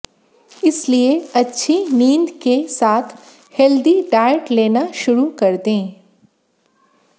इसलिए अच्छी नींद के साथ हेल्दी डाइट लेना शुरू कर दें